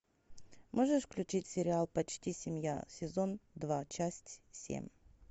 можешь включить сериал почти семья сезон два часть семь